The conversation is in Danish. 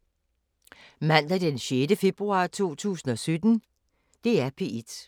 Mandag d. 6. februar 2017